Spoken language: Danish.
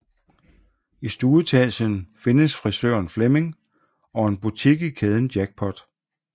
I stueetagen findes frisøren flemming og en butik i kæden jackpot